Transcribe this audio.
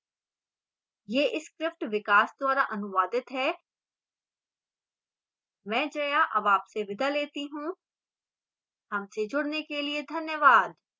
यह tutorial विकास द्वारा अनुवादित है मैं जया अब आपसे विदा लेती हूँ